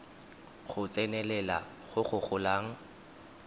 go tsenelela go go golang